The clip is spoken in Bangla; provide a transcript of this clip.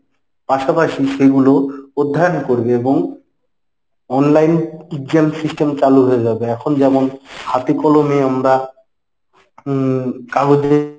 পাশাপাশি সেইগুলো অধ্যায়ন করবে এবং online exam system চালু হয়ে যাবে এখন যেমন হাতে কলমে আমরা উম কাগজে